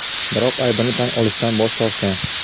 biroq aybini tan olishdan bosh tortgan.